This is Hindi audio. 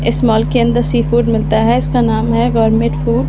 इस मॉल के अंदर सी फूड मिलता है इसका नाम है गवर्नमेंट फूड .